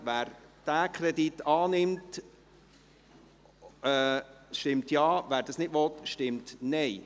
Wer diesen Kredit annimmt, stimmt Ja, wer dies nicht will, stimmt Nein.